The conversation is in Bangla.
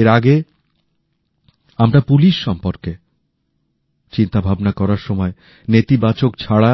এর আগে আমরা পুলিশ সম্পর্কে চিন্তাভাবনা করার সময় নেতিবাচক ছাড়া